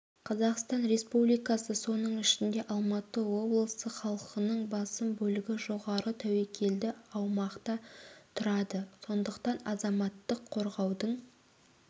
қазақстан республикасы сонын ішінде алматы облысы халқының басым бөлігі жоғарғы тәуікелді аумақта тұрады сондықтан азаматтық қорғаудың